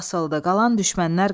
Qalan düşmənlər qaçdı.